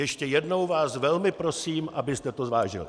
Ještě jednou vás velmi prosím, abyste to zvážili.